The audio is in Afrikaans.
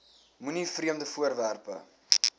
moenie vreemde voorwerpe